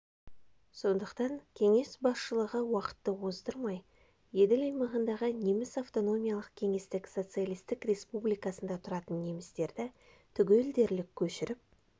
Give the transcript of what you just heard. сондықтан кеңес басшылығы уақытты оздырмай еділ аймағындағы неміс автономиялық кеңестік социалистік республикасында тұратын немістерді түгел дерлік көшіріп